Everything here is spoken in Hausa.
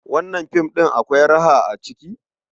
Wannan film ɗin akwai raha a ciki?